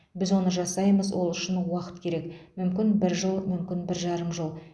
біз оны жасаймыз ол үшін уақыт керек мүмкін бір жыл мүмкін бір жарым жыл